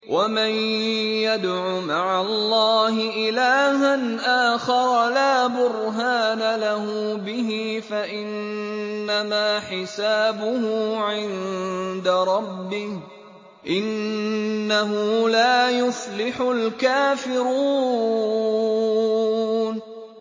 وَمَن يَدْعُ مَعَ اللَّهِ إِلَٰهًا آخَرَ لَا بُرْهَانَ لَهُ بِهِ فَإِنَّمَا حِسَابُهُ عِندَ رَبِّهِ ۚ إِنَّهُ لَا يُفْلِحُ الْكَافِرُونَ